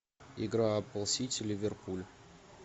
игра апл сити ливерпуль